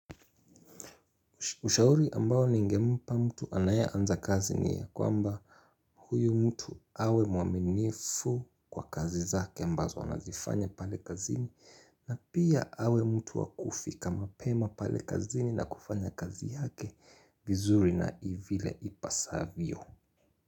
Ushauri ambao ningempa mtu anaye anza kazi ni ya kwamba huyu mtu awe mwaminifu kwa kazi zake ambazo anazifanya pale kazini na pia awe mtu wa kufika mapema pale kazini na kufanya kazi yake vizuri na vile ipasavyo.